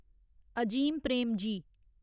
Azim Premji